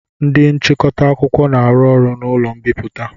Ndị nchịkọta akwụkwọ na-arụ ọrụ n'ụlọ mbipụta.